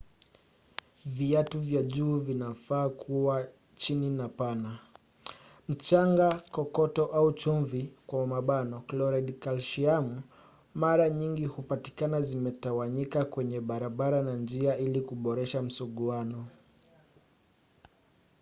viatu vya juu vinafaa kua chini na pana.mchanga kokoto au chumvi kloridi kalsiamu mara nyingi hupatikana zimetawanyika kwenye barabara na njia ili kuboresha msuguano